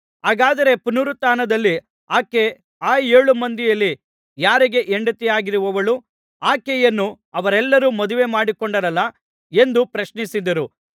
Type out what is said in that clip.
ಹಾಗಾದರೆ ಪುನರುತ್ಥಾನದಲ್ಲಿ ಆಕೆ ಆ ಏಳು ಮಂದಿಯಲ್ಲಿ ಯಾರಿಗೆ ಹೆಂಡತಿಯಾಗಿರುವಳು ಆಕೆಯನ್ನು ಅವರೆಲ್ಲರೂ ಮದುವೆಮಾಡಿಕೊಂಡಿದ್ದರಲ್ಲಾ ಎಂದು ಪ್ರಶ್ನಿಸಿದರು